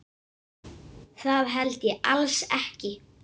Það held ég alls ekki.